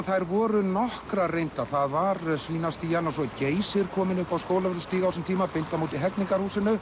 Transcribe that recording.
þær voru nokkrar reyndar það var Svínastían og svo er Geysir kominn á Skólavörðustíg á þessum tíma beint á móti Hegningarhúsinu